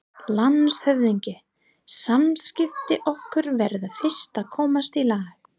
LANDSHÖFÐINGI: Samskipti okkar verða fyrst að komast í lag.